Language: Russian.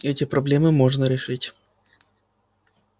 эти проблемы можно решить